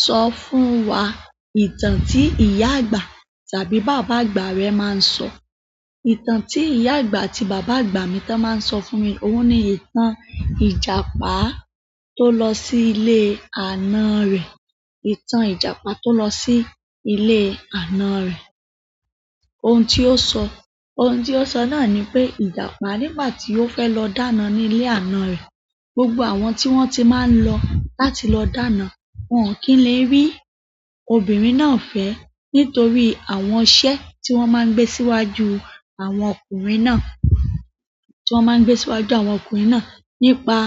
Sọ fún wa ìtàn tí ìyá àgbà tàbí bàbá àgbà rẹ máa ń sọ. Ìtàn tí ìyá àgbà àti bàbá àgbà mi tán máa ń sọ fún mi. Ohun ni ìtàn Ìjàpá tó lọ sí ilé àna rẹ̀. Ìtàn Ìjàpá tó lọ sí ilé àna rẹ̀. Ohun tí ó sọ, ohun tí ó sọ náà ni pé Ìjàpá nígbà tí ó fẹ́ lọ dáná ni ilé àna rẹ̀, gbogbo àwọn tí wọ́n ti máa ń lọ láti lọ dáná, wọn o kì n lè rí obìnrin náà fẹ́ nítorí àwọn iṣẹ́ tí wọ́n máa ń gbé síwájú àwọn ọkùnrin náà. Tí wọ́n máa ń gbé síwájú àwọn ọkùnrin náà nípa